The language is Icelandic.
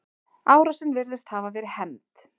Árásin virðist hafa verið hefnd.